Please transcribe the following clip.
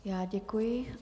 Já děkuji.